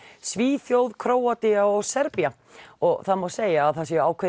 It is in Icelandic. Svíþjóð Króatía og Serbía og það má segja að það séu ákveðin